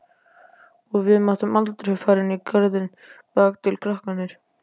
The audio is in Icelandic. Og við máttum aldrei fara inn í garðinn bakatil, krakkarnir.